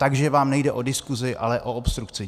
Takže vám nejde o diskusi, ale o obstrukce.